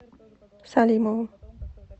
салимовым